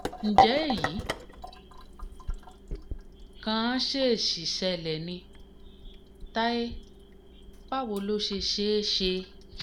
ǹjẹ́ èyí kàn ṣèèṣì ṣẹlẹ̀ ni táyé báwo ló ṣe ṣe é ṣe?